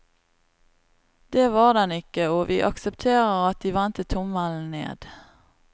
Det var den ikke, og vi aksepterer at de vendte tommelen ned.